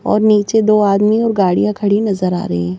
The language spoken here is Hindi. और नीचे दो आदमी और गाड़ियां खड़ी नजर आ रही हैं।